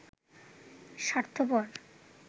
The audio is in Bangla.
স্বার্থপর